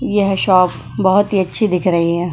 यह शॉप बहुत ही अच्छी दिख रही है।